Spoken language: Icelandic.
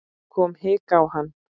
Það kom hik á hann.